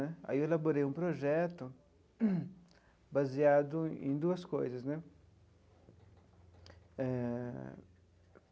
Aí eu elaborei um projeto baseado em duas coisas né eh.